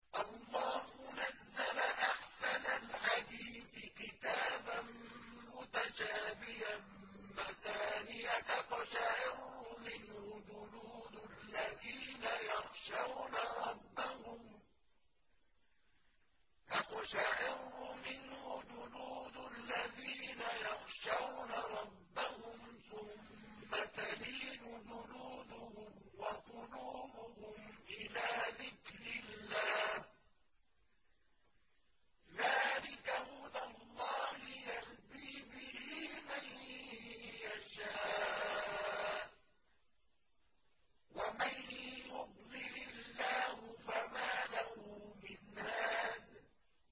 اللَّهُ نَزَّلَ أَحْسَنَ الْحَدِيثِ كِتَابًا مُّتَشَابِهًا مَّثَانِيَ تَقْشَعِرُّ مِنْهُ جُلُودُ الَّذِينَ يَخْشَوْنَ رَبَّهُمْ ثُمَّ تَلِينُ جُلُودُهُمْ وَقُلُوبُهُمْ إِلَىٰ ذِكْرِ اللَّهِ ۚ ذَٰلِكَ هُدَى اللَّهِ يَهْدِي بِهِ مَن يَشَاءُ ۚ وَمَن يُضْلِلِ اللَّهُ فَمَا لَهُ مِنْ هَادٍ